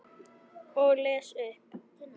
Og les upp.